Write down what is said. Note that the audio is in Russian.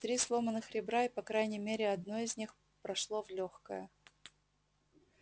три сломанных ребра и по крайней мере одно из них прошло в лёгкое